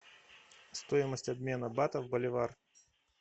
стоимость обмена батов в боливар